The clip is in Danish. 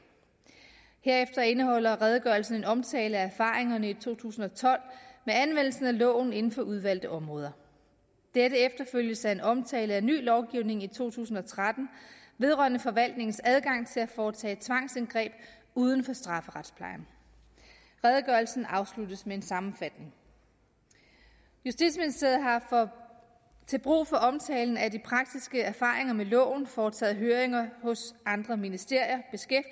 herefter indeholder redegørelsen en omtale af erfaringerne i to tusind og tolv med anvendelsen af loven inden for udvalgte områder dette efterfølges af en omtale af ny lovgivning i to tusind og tretten vedrørende forvaltningens adgang til at foretage tvangsindgreb uden for strafferetsplejen redegørelsen afsluttes med en sammenfatning justitsministeriet har til brug for omtalen af de praktiske erfaringer med loven foretaget høringer hos andre ministerier